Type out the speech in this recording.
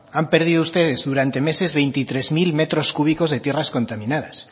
han perdido ustedes durante meses veintitrés mil metros cúbicos de tierras contaminadas